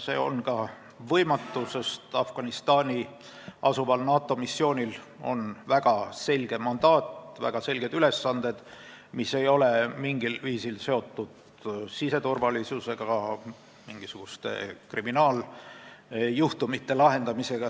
See on ka võimatu, sest Afganistanis asuval NATO missioonil on väga selge mandaat, väga selged ülesanded, mis ei ole mingil viisil seotud siseturvalisusega, mingisuguste kriminaaljuhtumite lahendamisega.